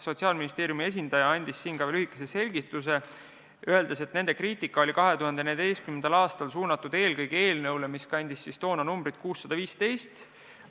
Sotsiaalministeeriumi esindaja andis sellele lühikese selgituse, öeldes, et nende kriitika oli 2014. aastal suunatud eelkõige eelnõu pihta, mis kandis numbrit 615.